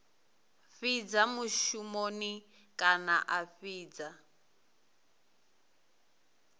fhidza mushumoni kana a fhidza